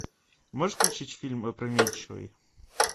можешь включить фильм опрометчивый